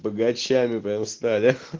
богачами прямо стали